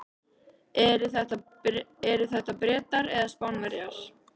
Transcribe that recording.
Eru þetta Bretar eða Spánverjar?